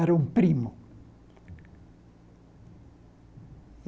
Era um primo.